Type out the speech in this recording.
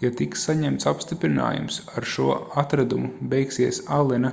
ja tiks saņemts apstiprinājums ar šo atradumu beigsies allena